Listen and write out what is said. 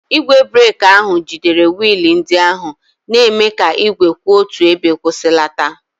Igwe breeki ahụ jidere wiil ndị ahụ, na-eme ka igwe kwụ otu ebe kwụsịlata.